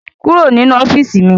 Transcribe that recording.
Kúrò nínú ọ́fíìsì mi!